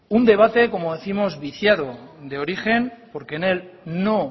un debate como décimos viciado de origen porque en él no